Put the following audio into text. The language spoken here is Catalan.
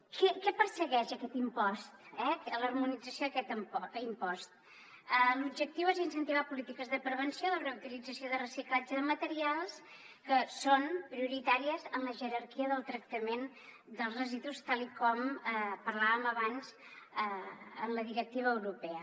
què persegueix aquest impost l’harmonització d’aquest impost l’objectiu és incentivar polítiques de prevenció de reutilització de reciclatge de materials que són prioritàries en la jerarquia del tractament dels residus tal com parlàvem abans en la directiva europea